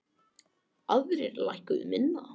Aðrir lækkuðu minna.